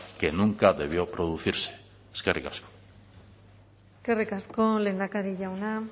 que nunca debió producirse eskerrik asko eskerrik asko lehendakari jauna